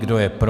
Kdo je pro?